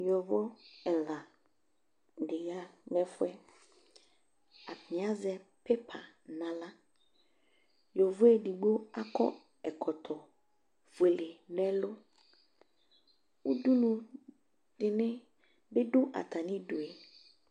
Yovo ɛla di ya nʋ ɛfuɛ Atani azɛ pipa naɣla Yovo edigbo akɔ ɛkɔtɔ fuele nɛlʋ Udunʋ di ni dʋ atami idu